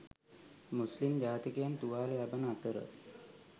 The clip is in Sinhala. මුස්ලිම් ජාතිකයන් තුවාල ලබන අතර